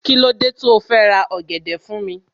Kílódé tó fẹ́ ra ọ̀gẹ̀dẹ̀ fún mi